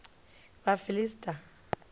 vhafiḽista